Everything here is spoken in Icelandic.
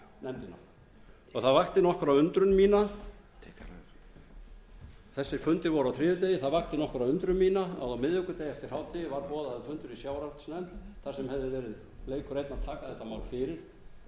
nefndina það vakti nokkra undrun mína þessir fundir voru á þriðjudegi það vakti nokkra undrun mína að á miðvikudaginn eftir hádegi var boðaður fundur í sjávarútvegsnefnd þar sem hefði verið leikur einn að taka þetta mál fyrir